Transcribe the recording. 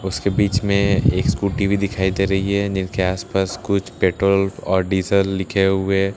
उसके बीच में एक स्कूटी भी दिखाई दे रही है जिनके आसपास कुछ पेट्रोल और डीज़ल लिखे हुए --